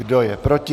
Kdo je proti?